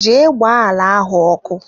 Jee gba ala ahụ ọkụ!